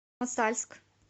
мосальск